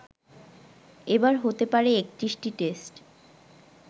এবার হতে পারে ৩১টি টেস্ট